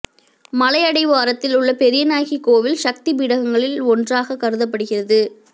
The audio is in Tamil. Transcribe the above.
மலை அடிவாரத்தில் உள்ள பெரியநாயகி கோவில் சக்தி பீடங்களில் ஒன்றாகக் கருதப்படுகிறது